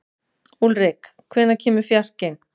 Úlrik, hvenær kemur fjarkinn?